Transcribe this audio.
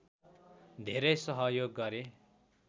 धेरै सहयोग गरे